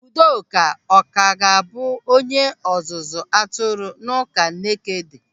Udoka ọ ka ga-abụ onye ọzụzụ atụrụ n'ụka Nekede?